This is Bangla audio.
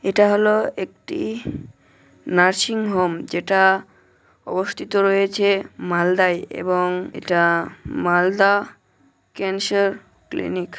এটা হল একটি নার্সিংহোম যেটা অস্থিত রয়েছে মালদায় এবং এটা মালদা ক্যান্সার ক্লিনিক।